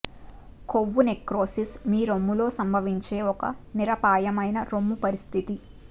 కొవ్వు నెక్రోసిస్ మీ రొమ్ములో సంభవించే ఒక నిరపాయమైన రొమ్ము పరిస్థితి